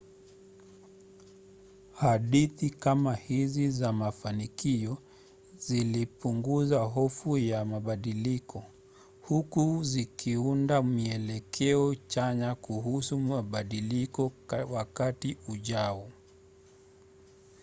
hadithi kama hizi za mafanikio zilipunguza hofu ya mabadiliko huku zikiunda mielekeo chanya kuhusu mabadiliko wakati ujao